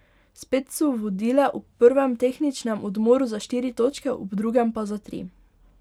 Spet so vodile, ob prvem tehničnem odmoru za štiri točke, ob drugem pa za tri.